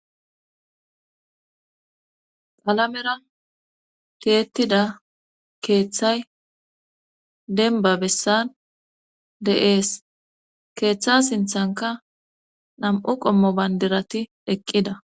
Qalamera tiyettida keeththay denba bessan de7ees keeththa sinthanka nam7u qommo bayndirati eqqida.